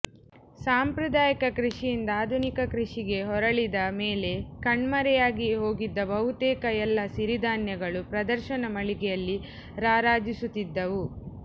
ಸಾಂಪ್ರದಾಯಿಕ ಕೃಷಿಯಿಂದ ಆಧುನಿಕ ಕೃಷಿಗೆ ಹೊರಳಿದ ಮೇಲೆ ಕಣ್ಮರೆಯಾಗಿಯೇ ಹೋಗಿದ್ದ ಬಹುತೇಕ ಎಲ್ಲ ಸಿರಿಧಾನ್ಯಗಳು ಪ್ರದರ್ಶನ ಮಳಿಗೆಯಲ್ಲಿ ರಾರಾಜಿಸುತ್ತಿದ್ದವು